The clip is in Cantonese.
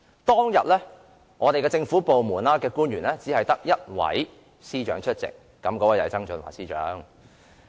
當天，在政府官員之中，只有一位司長出席，便是曾俊華司長。